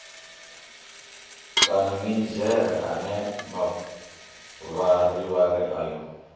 kana minidzhere ane mavharivhari ayo